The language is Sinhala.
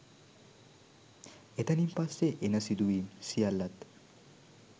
එතනින් පස්සේ එන සිදුවීම් සියල්ලත්